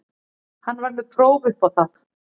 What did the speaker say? Hann er með próf upp á það.